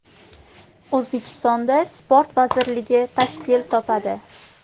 O‘zbekistonda sport vazirligi tashkil topadi.